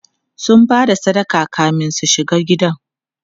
sun Bada sadaka kamin su shiga gidan